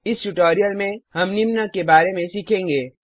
इस ट्यूटोरियल में हम निम्न के बारे में सीखेंगे